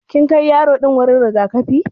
Kin Kai yaro din wuri rigakafi?